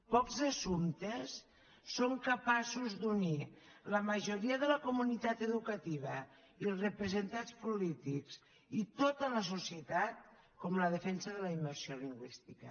pocs assumptes són capaços d’unir la majoria de la comunitat educativa i els representants polítics i tota la societat com la defensa de la immersió lingüística